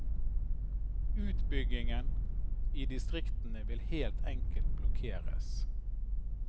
Utbyggingen i distriktene vil helt enkelt blokkeres.